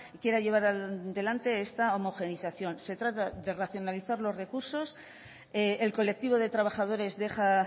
quiera llevar adelante esta homogenización se trata de racionalizar los recursos el colectivo de trabajadores deja